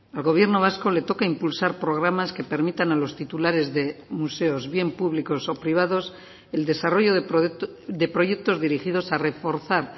al gobierno vasco le toca impulsar programas que permitan a los titulares de museos bien públicos o privados el desarrollo de proyectos dirigidos a reforzar